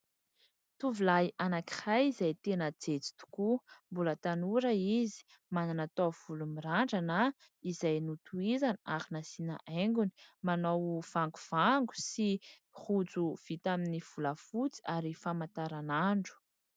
Tovolahy iray izay tena jejo tokoa, mbola tanora izy manana taovolo mirandrana izay notohizana ary nasiana haingony, manao vangovango sy rojo vita aminy volafotsy sy famantaranandro.